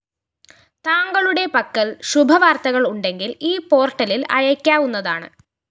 താങ്കളുടെ പക്കല്‍ ശുഭവാര്‍ത്തകള്‍ ഉണ്ടെങ്കില്‍ ഈ പോര്‍ട്ടലില്‍ അയയ്ക്കാവുന്നതാണ്